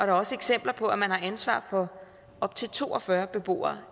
er også eksempler på at man alene har ansvar for op til to og fyrre beboere